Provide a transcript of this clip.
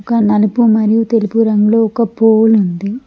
ఒక నలుపు మరియు తెలుపు రంగులో ఒక పోల్ ఉంది.